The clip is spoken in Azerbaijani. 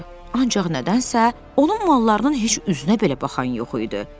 Ancaq nədənsə onun mallarının heç üzünə belə baxan yox idi.